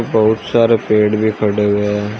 बहुत सारे पेड़ भी खड़े हुए हैं।